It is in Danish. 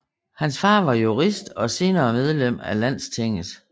Hans far var jurist og senere medlem af Landstinget